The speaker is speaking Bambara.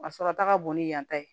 A sɔrɔta ka bon ni yan ta ye